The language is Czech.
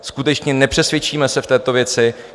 Skutečně, nepřesvědčíme se v této věci.